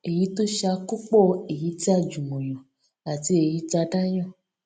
èyí tó ṣe àkópọ èyí tí a jùmọ yàn àti èyí tí a dá yàn